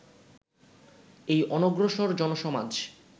এই অনগ্রসর জনসমাজ